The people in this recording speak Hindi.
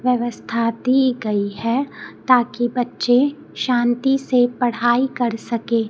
व्यवस्था दी गई है ताकी बच्चे शांति से पढ़ाई कर सकें।